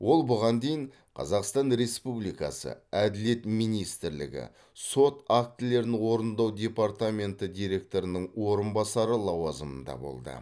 ол бұған дейін қазақстан республикасы әділет министрлігі сот актілерін орындау департаменті директорының орынбасары лауазымында болды